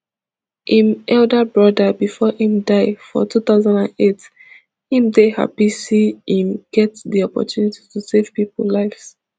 im elder broda bifor im die for two thousand and eight im dey happy see im get di opportunity to save pipo lives